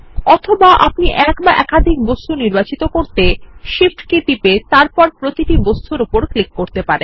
অথবা আপনি এক অথবা একাধিক বস্তু নির্বাচন করতে Shift কী টিপে তারপর প্রতিটি বস্তুর উপর ক্লিক করতে পারেন